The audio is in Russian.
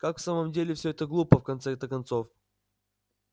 как в самом деле всё это глупо в конце-то концов